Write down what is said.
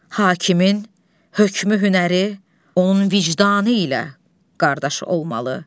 Hakimin hökmü hünəri, onun vicdanı ilə qardaş olmalı.